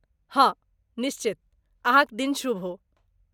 हाँ निश्चित, अहाँ क दिन शुभ हो ।